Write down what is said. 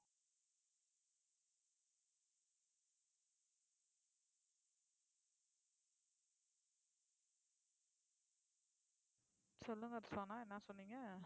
சொல்லுங்க சனா என்ன சொன்னீங்க